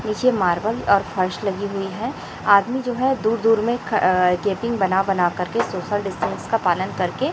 नीचे मार्बल और फर्श लगी हुई है आदमी जो है दूर दूर में ख अ गैपिंग बना बनाकर के सोशल डिस्टेंस का पालन करके--